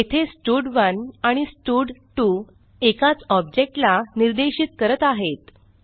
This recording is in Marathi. येथे स्टड1 आणि स्टड2 एकाच ऑब्जेक्ट ला निर्देशित करत आहेत